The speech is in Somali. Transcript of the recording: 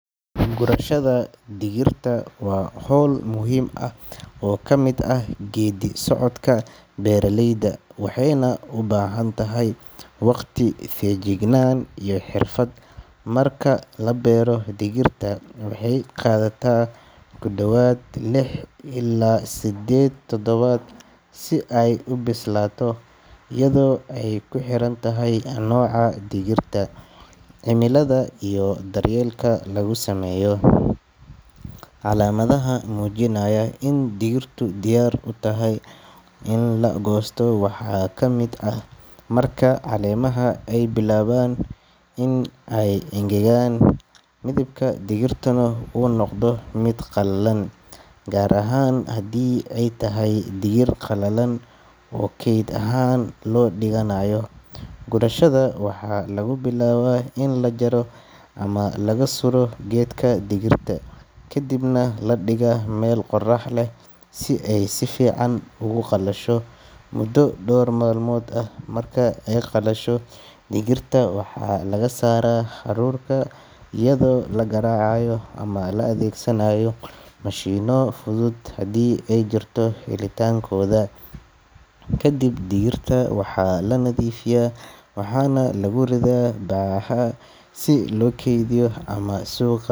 Gurashada digirta waa hawl muhiim ah oo ka mid ah geedi-socodka beeralayda, waxayna u baahan tahay waqti, feejignaan iyo xirfad. Marka la beero digirta, waxay qaadataa ku dhawaad lix ilaa siddeed toddobaad si ay u bislaato iyadoo ay ku xiran tahay nooca digirta, cimilada iyo daryeelka lagu sameeyo. Calaamadaha muujinaya in digirtu diyaar u tahay in la goosto waxaa ka mid ah marka caleemaha ay bilaabaan in ay engegaan, midabka digirtuna uu noqdo mid qallalan, gaar ahaan haddii ay tahay digir qalalan oo keyd ahaan loo dhiganayo. Gurashada waxaa lagu bilaabaa in la jaro ama laga suro geedka digirta, kadibna la dhigaa meel qorrax leh si ay si fiican ugu qalasho muddo dhowr maalmood ah. Marka ay qalasho, digirta waxaa laga saaraa haruurka iyadoo la garaacayo ama la adeegsanayo mashiinno fudud haddii ay jirto helitaankooda. Kadib digirta waxaa la nadiifiyaa, waxaana lagu riddaa bacaha si loo keydiyo ama suuqa.